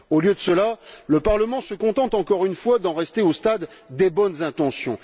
Au lieu de cela, le Parlement se contente, encore une fois, d'en rester au stade des bonnes intentions.